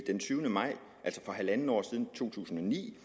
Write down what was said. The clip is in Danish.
den tyvende maj to tusind og ni